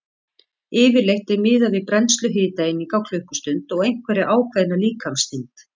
Yfirleitt er miðað við brennslu hitaeininga á klukkustund og einhverja ákveðna líkamsþyngd.